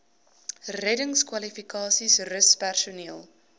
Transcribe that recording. reddingskwalifikasies rus personeel